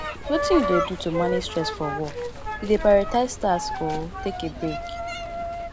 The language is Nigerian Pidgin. wetin you dey do to manage stress for work you dey prioritize tasks or take a break